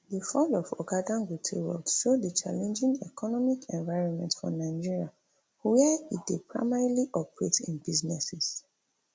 di fall for oga dangote wealth show di challenging economic environment for nigeria wia e dey primarily operate im businesses